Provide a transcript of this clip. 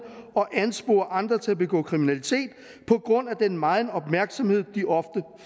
og anspore andre til at begå kriminalitet på grund af den megen opmærksomhed de ofte